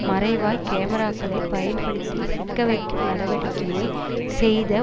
மறைவாய் கேமராக்களைப் பயன்படுத்தி சிக்கவைக்கும் நடவடிக்கையை செய்த